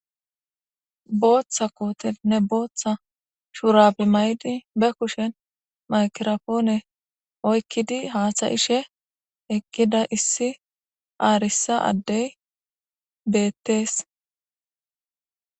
Boththa kotenne boththa shurabe mayidi ba kushen maygirapone oykidi hasa'ishe eqida issi arsa adey betes.